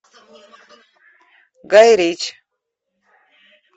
гай ричи